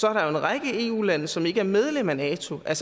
er der en række eu lande som ikke er medlemmer af nato og